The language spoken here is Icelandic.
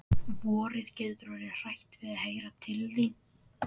Vorið getur orðið hrætt við að heyra til þín.